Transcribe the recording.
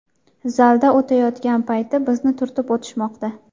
Zalda o‘tayotgan payti bizni turtib o‘tishmoqda.